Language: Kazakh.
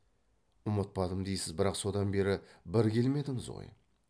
ұмытпадым дейсіз бірақ содан бері бір келмедіңіз ғой